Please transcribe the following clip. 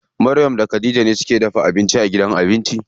Maryam da Khadija ne suke dafa abinci a gidan abinci.